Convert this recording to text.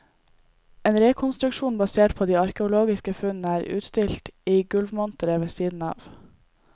En rekonstruksjon basert på de arkeologiske funnene er utstilt i gulvmonteret ved siden av.